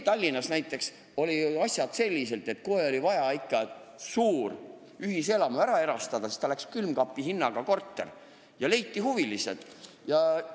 Tallinnas näiteks toimusid asjad selliselt, et kui oli vaja ikka suur ühiselamu ära erastada, siis läks korter külmkapi hinnaga ja huvilised leiti.